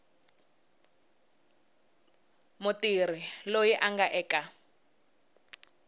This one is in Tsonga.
mutirhi loyi a nga eka